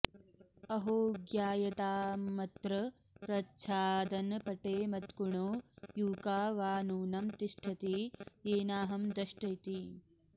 अहो ज्ञायतामत्र प्रच्छादनपटे मत्कुणो यूका वा नूनं तिष्ठति येनाहं दष्ट इति